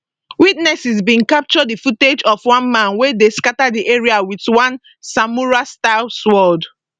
witnesses bin capture di footage of one man wey dey scata di area wit one samuraistyle sword